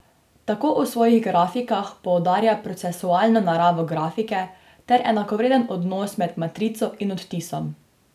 Tako v svojih grafikah poudarja procesualno naravo grafike ter enakovreden odnos med matrico in odtisom.